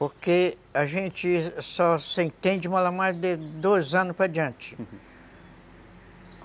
Porque a gente só se entende malamar de dois anos para diante, uhum.